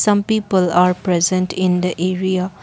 some people are present in the area.